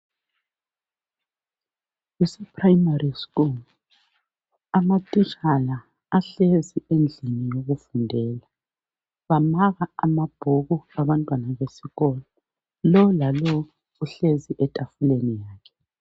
Kuse prayimari skul. Amatitshala ahlezi endlini yokufundela. Bamaka amabhuku abantwana besikolo. Lo lalo uhlezi etafuleni yakhe.